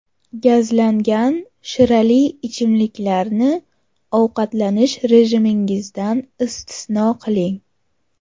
Gazlangan shirali ichimliklarni ovqatlanish rejimingizdan istisno qiling.